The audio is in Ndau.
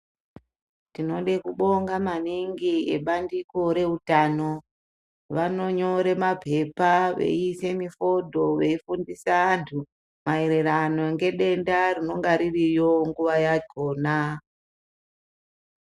Tinode kubonga maningi ebandiko rewutano. Vanonyore maphepha, veyise mifodo , veyifundisa antu, mayererano ngedenda rinonga ririyo nguva yakhona.